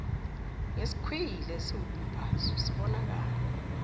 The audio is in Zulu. ngesikhwili esiwumbazo sibonakala